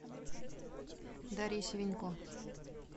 дарья севенько